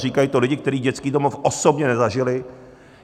Říkají to lidi, kteří dětský domov osobně nezažili.